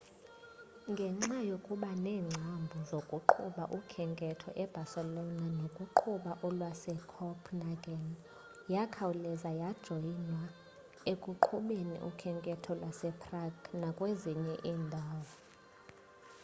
ngenxa yokuba neengcambu zokuqhuba ukhenketho ebarcelo nokuqhuba olwasecopenhageni yakhawuleza yajoyinwa ekuqhubeni ukhenketho eprague nakwezinye iindawo